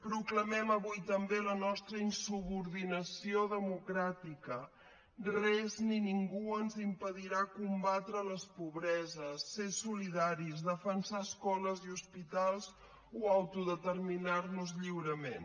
proclamem avui també la nostra insubordinació democràtica res ni ningú ens impedirà combatre les pobreses ser solidaris defensar escoles i hospitals o autodeterminar nos lliurement